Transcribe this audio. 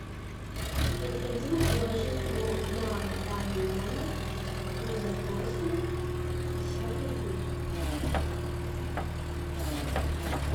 необходимо положить но на данный номер по запросу пятьдесят рублей